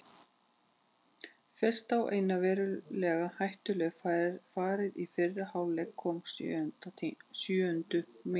Fyrsta og eina verulega hættulega færið í fyrri hálfleik kom á sjöundu mínútu.